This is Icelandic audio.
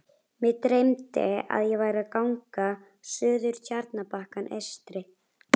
Mig dreymdi, að ég væri á gangi suður Tjarnarbakkann eystri.